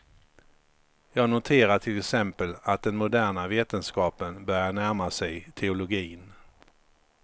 Jag noterar till exempel att den moderna vetenskapen börjar närma sig teologin.